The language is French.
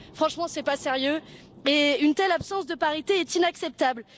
Franchement, ce n'est pas sérieux, et une telle absence de parité est inacceptable.